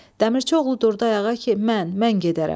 Dəmirçioğlu durdu ayağa ki, mən, mən gedərəm.